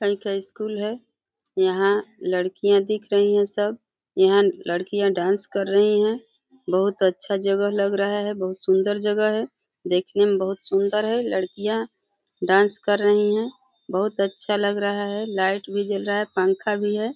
कल का स्कूल है। यहाँ लडकियाँ दिख रही हैं सब। यहाँ लडकियाँ डांस कर रही हैं। बहोत अच्छा जगह लग रहा है। बहोत सुंदर जगा है देखने में बहोत सुंदर है। लडकियाँ डांस कर रही हैं। बहोत अच्छा लग रहा है लाइट भी जल रहा है पंखा भी है।